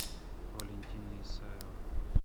валентина исаева